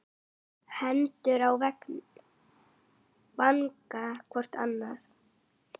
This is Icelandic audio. Hendur á vanga hvor annars.